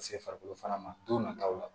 Ka se farikolo fana ma don nataw la